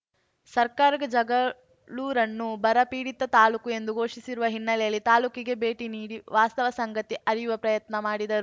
ಸರ್ಕಾರಕ ಜಗಳೂರನ್ನು ಬರಪೀಡಿತ ತಾಲೂಕು ಎಂದು ಘೋಷಿಸಿರುವ ಹಿನ್ನಲೆಯಲ್ಲಿ ತಾಲೂಕಿಗೆ ಬೇಟಿ ನೀಡಿ ವಾಸ್ತವ ಸಂಗತಿ ಅರಿಯುವ ಪ್ರಯತ್ನ ಮಾಡಿದರು